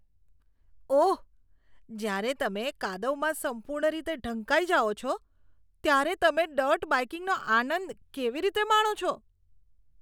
ઓહ! જ્યારે તમે કાદવમાં સંપૂર્ણ રીતે ઢંકાઇ જાઓ છો ત્યારે તમે ડર્ટ બાઇકિંગનો આનંદ કેવી રીતે માણો છો?